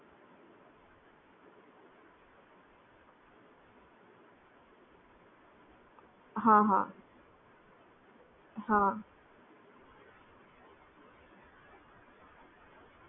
હા